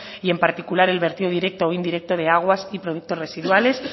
y en particular el vertido directo o indirecto de aguas y productos residuales